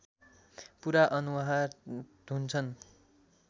पूरा अनुहार धुन्छन्